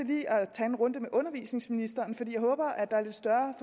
tage en runde med undervisningsministeren for jeg håber at der er lidt større